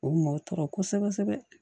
O mɔ tɔɔrɔ kosɛbɛ kosɛbɛ